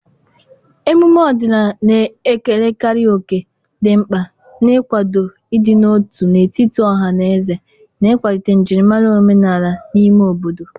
emume ọdịnala na-ekerekarị òkè dị mkpa n'ịkwado ịdị n'otu n'etiti ọha na eze na ịkwalite njirimara omenala n'ime obodo.